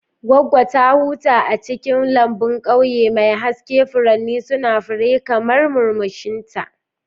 Goggo ta huta a cikin lambun kauye mai haske, furanni suna fure kamar murmushinta.